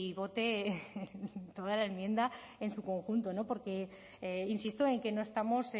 vote toda la enmienda en su conjunto porque insisto en que no estamos